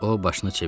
O başını çevirdi.